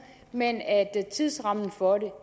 men tidsrammen for det